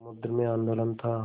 समुद्र में आंदोलन था